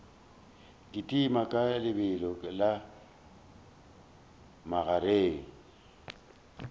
kitima ka lebelo la magareng